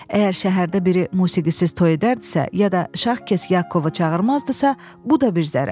Əgər şəhərdə biri musiqisiz toy edərdisə, ya da şax kes Yakovu çağırmazdısa, bu da bir zərər.